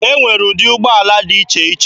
Enwere ụdị ụgbọala dị iche iche.